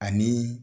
Ani